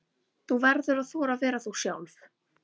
Þú verður að þora að vera þú sjálf.